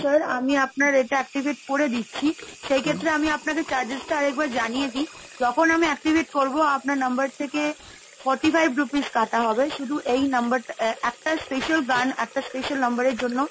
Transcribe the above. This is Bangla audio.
sir আমি আপনার এটা activate করে দিচ্ছি। সেই ক্ষেত্রে আমি আপনাকে charges টা আরেকবার জানিয়ে দি। তখন আমি activate করবো আপনার number থেকে forty five rupees কাটা হবে, শুধু এই number টা একটা special গান, একটা special number এর জন্য।